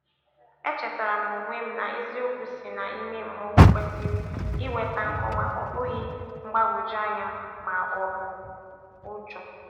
E chetara m onwe m na eziokwu si na ime mmụọ kwesịrị ị weta nkọwa, ọ bụghị mgbagwoju anya ma ọbụ ụjọ